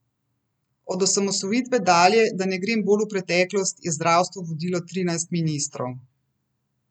Od osamosvojitve dalje, da ne grem bolj v preteklost, je zdravstvo vodilo trinajst ministrov.